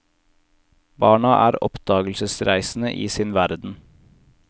Barna er oppdagelsesreisende i sin verden.